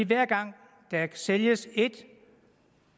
hver gang der sælges et